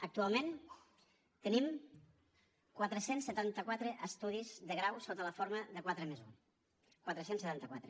actualment tenim quatre cents i setanta quatre estudis de grau sota la forma de quatre+un quatre cents i setanta quatre